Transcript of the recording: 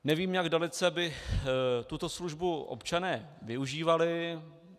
Nevím, jak dalece by tuto službu občané využívali.